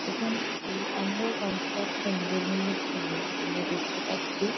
এখানে একটি under construction building -এর ছবি আমরা দেখতে পাচ্ছি।